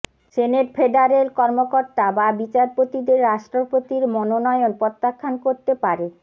senate federal কর্মকর্তা বা বিচারপতিদের রাষ্ট্রপতির মনোনয়ন প্রত্যাখ্যান করতে পারে